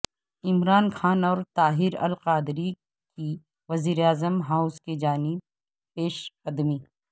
عمران خان اور طاہر القادری کی وزیراعظم ہاوس کی جانب پیشقدمی